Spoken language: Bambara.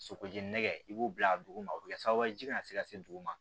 Sogo jeni nɛgɛ i b'u bila a duguma o bɛ kɛ sababu ye ji kana se ka se dugu ma